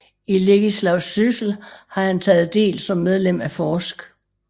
I legislativ Syssel har han taget Del som Medlem af forsk